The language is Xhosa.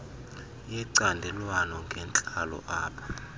yecandelwana ngentla apha